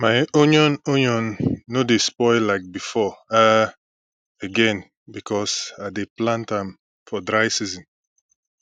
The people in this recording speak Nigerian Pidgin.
my onion onion no dey spoil like before um again because i dey plant am for dry season